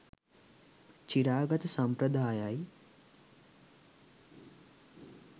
චිරාගත සම්ප්‍රදායයි.